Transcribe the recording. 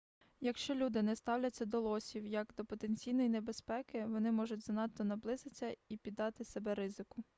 якщо люди не ставляться до лосів як до потенційної небезпеки вони можуть занадто наблизитися і піддати себе ризику